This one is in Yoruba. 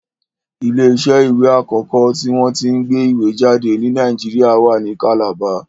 Ilé iṣẹ́ àkọ́kọ́ tí wọ́n tí ń gbé ìwé jáde ni Nàìjíríà wa ní kàlàba